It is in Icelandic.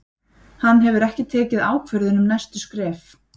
Hann hefur ekki tekið ákvörðun um næstu skref.